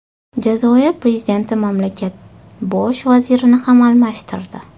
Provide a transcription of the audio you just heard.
Jazoir prezidenti mamlakat bosh vazirini ham almashtirdi.